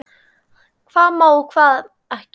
Hvað má og hvað ekki.